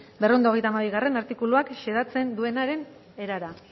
berrehun eta hogeita hamabigarrena artikuluak xedatzen duenaren erara